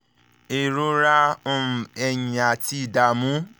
ìrora um ẹ̀yìn àti ìdààmú